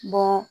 Bɔ